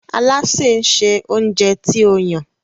Alásè nsé oúnjẹ tí o Yàn.